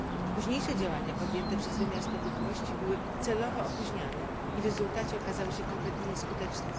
Późniejsze działania podjęte przez wymiar sprawiedliwości były celowo opóźniane i w rezultacie okazały się kompletnie nieskuteczne.